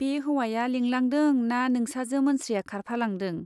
बे हौवाया लिंलांदों ना नोंसाजो मोनस्रिया खारफालांदों ?